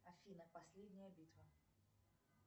афина последняя битва